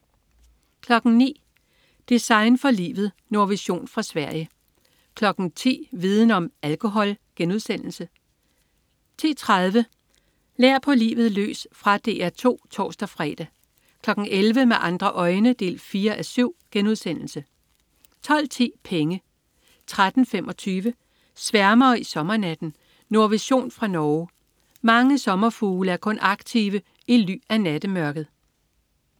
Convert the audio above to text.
09.00 Design for livet. Nordvision fra Sverige 10.00 Viden om: Alkohol* 10.30 Lær på livet løs. Fra DR 2 (tors-fre) 11.00 Med andre øjne 4:7* 12.10 Penge* 13.25 Sværmere i sommernatten. Nordvision fra Norge. Mange sommerfugle er kun aktive i ly af nattemørket